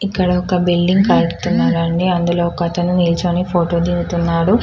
ఇక్కడ ఒక బిల్డింగ్ కట్టుతున్నారు అండి అందులో ఒకతడు నిలుచుకొని ఫోటో దిగుతున్నాడు.